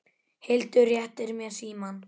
Hildur réttir mér símann.